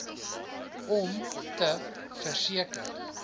om te verseker